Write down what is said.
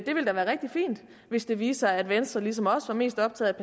ville da være rigtig fint hvis det viste sig at venstre ligesom os er mest optaget